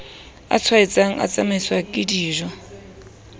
a tshwaetsang a tsamaiswang kedijo